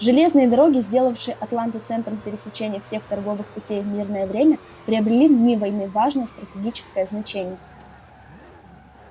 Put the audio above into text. железные дороги сделавшие атланту центром пересечения всех торговых путей в мирное время приобрели в дни войны важное стратегическое значение